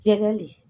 Ɲɛgɛn de